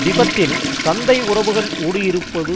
திபெத்தில் சந்தை உறவுகள் ஊடுருவியிருப்பது